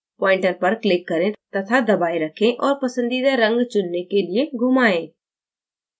pointer पर click करें तथा दबाए रखें और पसंदीदा रंग चुनने के लिए घुमाएँ